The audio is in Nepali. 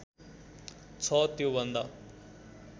छ त्यो भन्दा